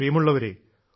പ്രിയമുള്ളവരേ